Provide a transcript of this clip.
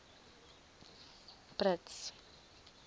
brits